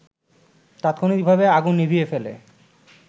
তাৎক্ষণিকভাবে আগুন নিভিয়ে ফেলে